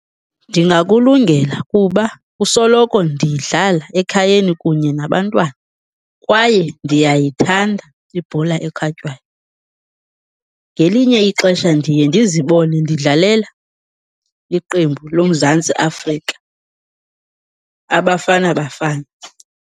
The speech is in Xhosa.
Ndingakulungela kuba kusoloko ndiyidlala ekhayeni kunye nabantwana, kwaye ndiyayithanda ibhola ekhatywayo. Ngelinye ixesha ndiye ndizibone ndidlalela iqembu loMzantsi Afrika, aBafana Bafana.